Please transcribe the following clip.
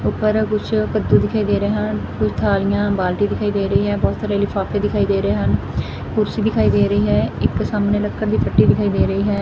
ਉਪਰ ਕੁਛ ਕੱਦੂ ਦਿਖਾਈ ਦੇ ਰਹੇ ਹਨ ਕੁਛ ਥਾਲੀਆਂ ਬਾਲਟੀ ਦਿਖਾਈ ਦੇ ਰਹੀ ਹੈ ਬਹੁਤ ਸਾਰੇ ਲਿਫਾਫੇ ਦਿਖਾਈ ਦੇ ਰਹੇ ਹਨ ਕੁਰਸੀ ਦਿਖਾਈ ਦੇ ਰਹੀ ਹੈ ਇੱਕ ਸਾਮਨੇ ਲੱਕੜ ਦੀ ਫੱਟੀ ਦਿਖਾਈ ਦੇ ਰਹੀ ਹੈ।